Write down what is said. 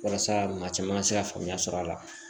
Walasa maa caman ka se ka faamuya sɔrɔ a la